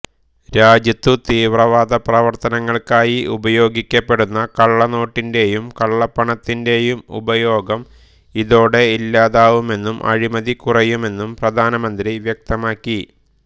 രാജ്യത്തു തീവ്രവാദപ്രവർത്തനങ്ങൾക്കായി ഉപയോഗിക്കപ്പെടുന്ന കള്ളനോട്ടിന്റേയും കള്ളപ്പണത്തിന്റേയും ഉപയോഗം ഇതോടെ ഇല്ലാതാവുമെന്നും അഴിമതി കുറയുമെന്നും പ്രധാനമന്ത്രി വ്യക്തമാക്കി